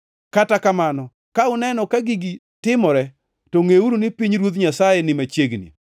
Kata kamano, ka uneno ka gigi timore to ngʼeuru ni pinyruoth Nyasaye ni machiegni.